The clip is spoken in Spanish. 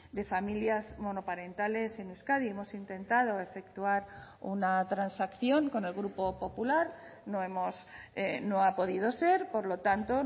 de familias monoparentales en euskadi hemos intentado efectuar una transacción con el grupo popular no hemos no ha podido ser por lo tanto